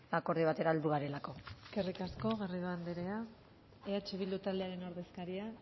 akordio batera heldu garelako eskerrik asko garrido andrea eh bildu talderen ordezkaria